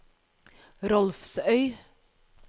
Rolvsøy